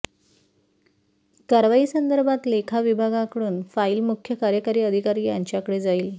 कारवाईसंदर्भात लेखाविभागाकडून फाईल मुख्य कार्यकारी अधिकारी यांच्याकडे जाईल